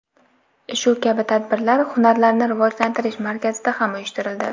Shu kabi tadbirlar hunarlarni rivojlantirish markazida ham uyushtirildi.